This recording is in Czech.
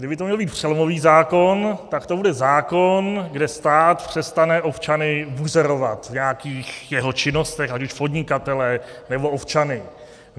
Kdyby to měl být přelomový zákon, tak to bude zákon, kde stát přestane občany buzerovat v nějakých jeho činnostech, ať už podnikatele, nebo občany.